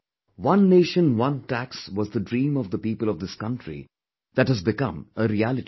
'One Nation, One Tax' was the dream of the people of this country that has become a reality today